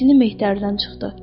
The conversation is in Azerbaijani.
Hirsini Mehtəridən çıxdı.